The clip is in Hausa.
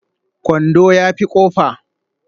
Kwando ya fi kofa